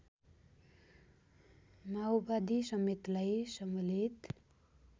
माओवादी समेतलाई सम्मिलित